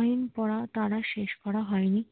আইন পর তার আর শেষ করা হইনি